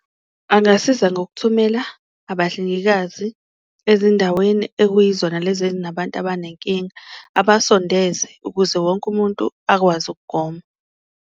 Angasiza ngokuthumela abahlengikazi ezindaweni ekuyizona lezi enabantu abanenkinga, abasondeze ukuze wonke umuntu akwazi ukugoma.